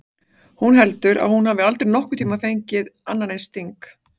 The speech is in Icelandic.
Hún heldur að hún hafi aldrei nokkurn tímann fengið annan eins sting.